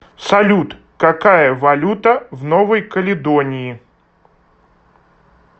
салют какая валюта в новой каледонии